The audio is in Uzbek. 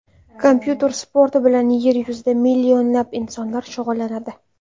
Kompyuter sporti bilan yer yuzida millionlab insonlar shug‘ullanadi.